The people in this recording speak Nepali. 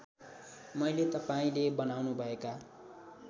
मैले तपाईँले बनाउनुभएका